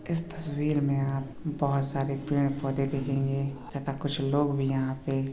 इस तस्वीर मे आप बहुत सरे-पेड़ पौधे देखेंगे तथा कुछ लोग भी यहाँ पे --